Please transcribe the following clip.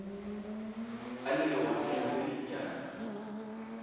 a le legodimong le lennyane